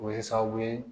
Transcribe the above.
O bɛ kɛ sababu ye